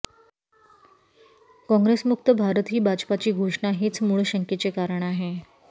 काँग्रेसमुक्त भारत ही भाजपाची घोषणा हेच मुळ शंकेचे कारण आहे